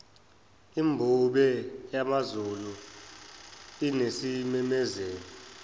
imbube yamazulu inesimemezelo